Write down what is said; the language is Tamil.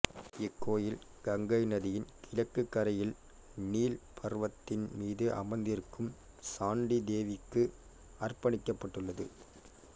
இக் கோயில் கங்கை நதியின் கிழக்குக் கரையில் நீல் பர்வத்தின் மீது அமர்ந்திருக்கும் சாண்டி தேவிக்கு அர்ப்பணிக்கப்பட்டுள்ளது